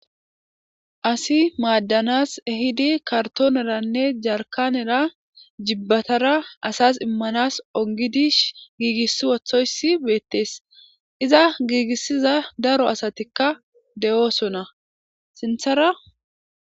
asi maaddanas ehidi kartooneranne jarkanera jibbatara asas immanas ongidi giigissi wothoyssi beettees iza giigissiza daro asatikka de7oosona sinthara